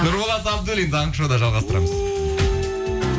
нұрболат абдуллин таңғы шоуда жалғастырамыз